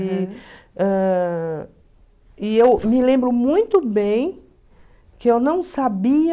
E ãh e eu me lembro muito bem que eu não sabia...